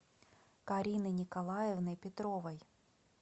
карины николаевны петровой